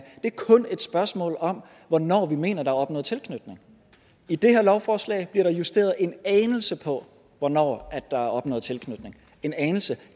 det er kun et spørgsmål om hvornår vi mener at der er opnået tilknytning i det her lovforslag bliver der justeret en anelse på hvornår der er opnået tilknytning en anelse